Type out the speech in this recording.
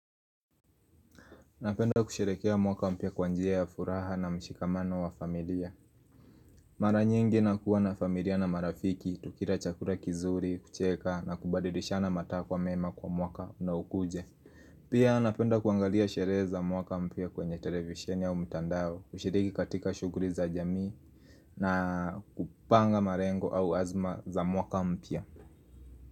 Napenda kusherehekea mwaka mpya kwa njia ya furaha na mshikamano wa familia Mara nyingi nakuwa na familia na marafiki, tukila chakula kizuri, kucheka na kubadirishana matakwa mema kwa mwaka unaokuja Pia napenda kuangalia sherehe za mwaka mpya kwenye televisheni au mtandao, kushiriki katika shughuli za jamii na kupanga malengo au azma za mwaka mpya.